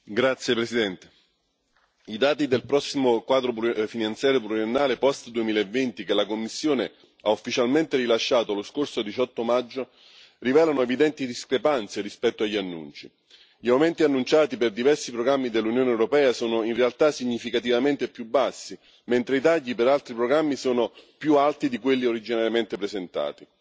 Signora Presidente, onorevoli colleghi, i dati del prossimo quadro finanziario pluriennale post 2020, che la Commissione ha ufficialmente rilasciato lo scorso 18 maggio, rivelano evidenti discrepanze rispetto agli annunci. Gli aumenti annunciati per diversi programmi dell'Unione europea sono in realtà significativamente più bassi, mentre i tagli per altri programmi sono più alti di quelli originariamente presentati.